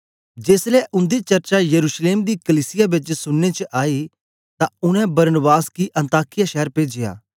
जेसलै उन्दी चर्चा यरूशलेम दी कलीसिया बेच सुनने च आई ते उनै बरनबास गी अन्ताकिया शैर पेजया